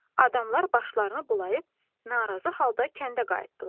Adamlar başlarını bulayıb narazı halda kəndə qayıtdılar.